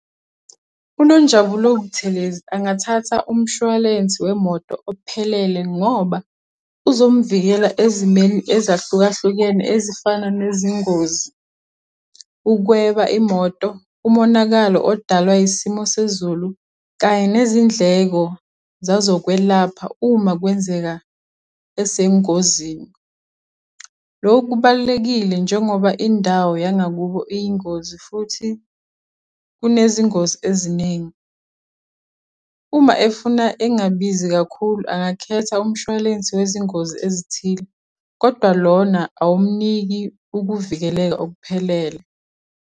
UNonjabulo Buthelezi angathatha umshwalensi wemoto ophelele ngoba uzomuvikela ezimeni ezahlukahlukene ezifana nezingozi, ukweba imoto, umonakalo odalwa isimo sezulu kanye nezindleko zazokwelapha uma kwenzeka esengozini. Loku kubalulekile njengoba indawo yangakubo iyingozi futhi kunezingozi eziningi. Uma efuna engabizi kakhulu, angakhetha umshwalensi wezingozi ezithile, kodwa lona awumniki ukuvikeleka okuphelele.